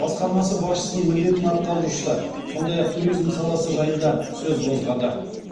басқармасы басшысының міндетін атқарушысы сондай ақ туризм саласы жайында сөз қозғады